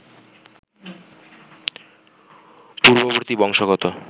পূর্ববর্তী বংশগত